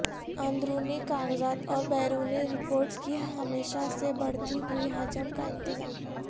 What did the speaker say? اندرونی کاغذات اور بیرونی رپورٹس کی ہمیشہ سے بڑھتی ہوئی حجم کا انتظام